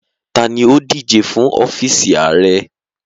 Tani o dije fun ọfiisi aarẹ?